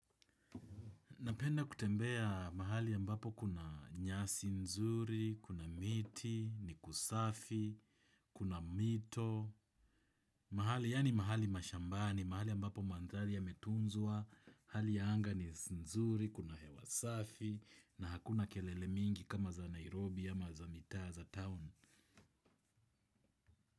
Napenda kutembea mahali ambapo kuna nyasi nzuri, kuna miti, ni kusafi, kuna mito, mahali yaani mahali mashambani, mahali ambapo mandhali yametunzua, hali ya anga ni nzuri, kuna hewa safi, na hakuna kelele mingi kama za Nairobi ama za mitaa za town.